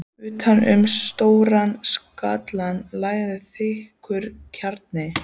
Utan um stóran skallann lagðist þykkur kragi.